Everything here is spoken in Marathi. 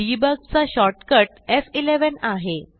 डिबग चा शॉर्टकट एफ11 आहे